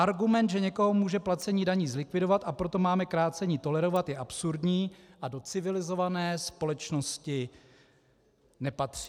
Argument, že někoho může placení daní zlikvidovat, a proto máme krácení tolerovat, je absurdní a do civilizované společnosti nepatří.